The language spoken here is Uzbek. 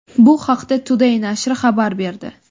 Bu haqda Today nashri xabar berdi.